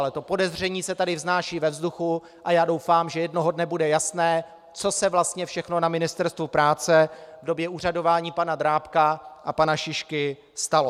Ale to podezření se tady vznáší ve vzduchu a já doufám, že jednoho dne bude jasné, co se vlastně všechno na Ministerstvu práce v době úřadování pana Drábka a pana Šišky stalo.